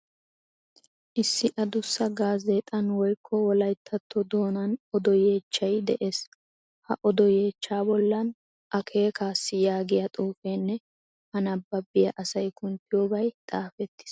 Issi adussa gaazeexan woykko wolayttatto doonan odo yeechchay de'ees. Ha odo yeechchaa bollan akeekaassi yaagiya xuufeenne A nabbabiya asay kunttiyobay xaafettiis.